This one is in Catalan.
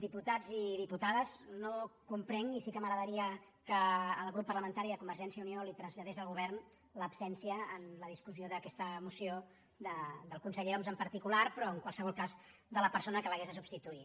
diputats i diputades no comprenc i sí que m’agradaria que el grup parlamentari de convergència i unió li ho traslladés al govern l’absència en la discussió d’aquesta moció del conseller homs en particular però en qualsevol cas de la persona que l’hagués de substituir